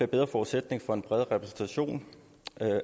bedre forudsætning for en bredere repræsentation